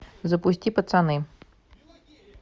запусти пацаны